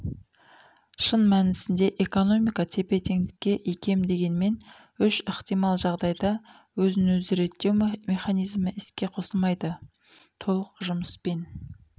шын мәнісінде экономика тепе теңдікке икем дегенмен үш ықтимал жағдайда өзін өзі реттеу механизмі іске қосылмайды толық жұмыспен